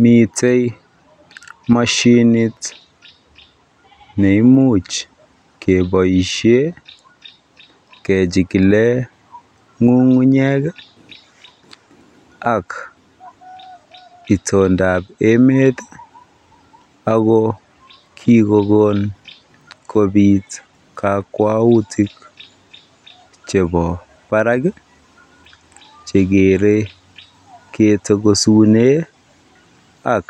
Mitei moshinit nemuch keboisie kechikile ng'ung'unyek ak itondab emet ako kikokon kobiit kakwautik chebo barak chekeere ketokosune ak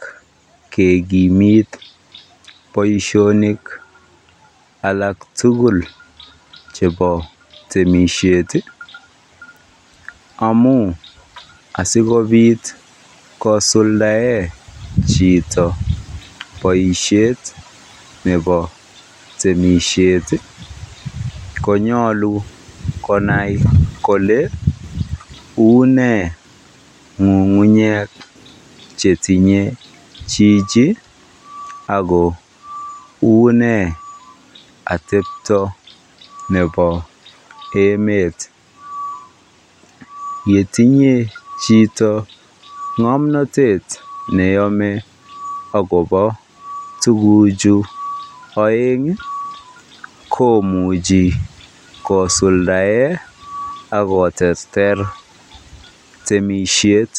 kekimit boisionik alak tugul chebo temisiet amu asikobit kosuldae chito boisiet nebo temisiet konyolu konai kole uune ng'ung'unyek chetinye jiji ako une atebto nebo emet. Yetinye chito ngg'omnotet neyome agobo tuguchu oeng komuchi kosuldae akoterter temisiet.